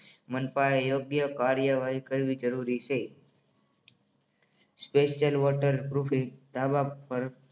મનપા એ યોગ્ય કાર્યવાહી કરવી જરૂરી છે. સ્પેશિયલ વોટરપ્રૂફ ધાબા પર